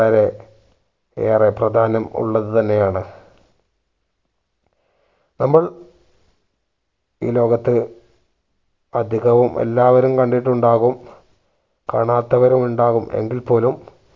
വളരെ ഏറെ പ്രധാനം ഉള്ളത് തന്നെ ആണ്. നമ്മൾ ഈ ലോകത്ത് അധികവും എല്ലാവരും കണ്ടിട്ടു ഉണ്ടാകും കാണാത്തവരും ഉണ്ടാകും എങ്കിൽ പോലും